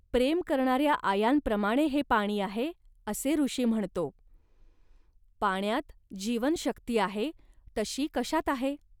प्रेम करणाऱ्या आयांप्रमाणे हे पाणी आहे, असे ऋषी म्हणतो. पाण्यात जीवनशक्ती आहे, तशी कशात आहे